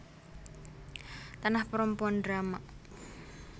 Tanah Perempuan drama